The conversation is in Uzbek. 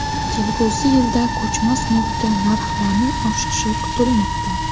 Kelgusi yilda ko‘chmas mulkka narxlarning oshishi kutilmoqda.